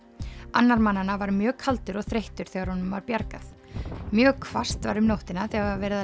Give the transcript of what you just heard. annar mannanna var mjög kaldur og þreyttur þegar honum var bjargað mjög hvasst var um nóttina þegar